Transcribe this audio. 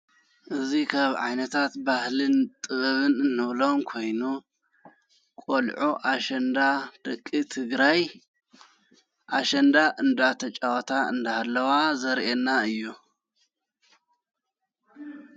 እዙይ ኻብ ዓይነታት ባህልን ጥበብን እንብሎም ኮይኑ ቖልዑ ኣሸንዳ ደቂ ትግራይ ኣሸንዳ እንዳ ተጫዋታ እንዳሃለዋ ዘርኤና እዩ።